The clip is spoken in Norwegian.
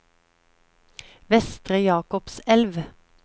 Vestre Jakobselv